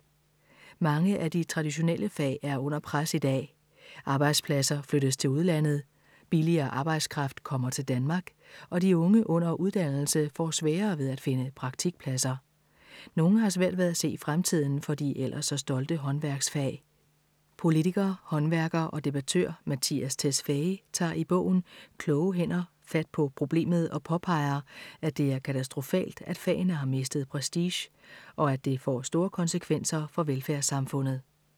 Mange af de traditionelle fag er under pres i dag. Arbejdspladser flyttes til udlandet, billigere arbejdskraft kommer til Danmark, og de unge under uddannelse får sværere ved at finde praktikpladser. Nogle har svært ved at se fremtiden for de ellers så stolte håndværksfag. Politiker, håndværker og debattør Mattias Tesfaye tager i bogen Kloge hænder fat på problemet og påpeger, at det er katastrofalt, at fagene har mistet prestige, og at det får store konsekvenser for velfærdssamfundet.